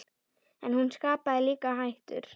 En hún skapaði líka hættur.